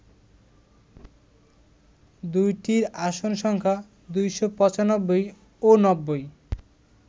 দুইটির আসন সংখ্যা ২৯৫ ও ৯০